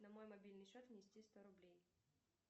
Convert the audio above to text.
на мой мобильный счет внести сто рублей